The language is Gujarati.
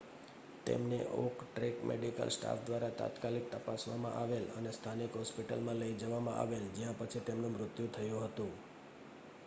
તેમને ઓન ટ્રેક મેડિકલ સ્ટાફ દ્વારા તાત્કાલિક તપાસવામાં આવેલ અને સ્થાનિક હોસ્પિટલમાં લઈ જવામાં આવેલ જ્યાં પછી તેમનું મૃત્યુ થયું હતું